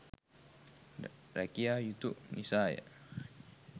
රැකිය යුතු නිසාය.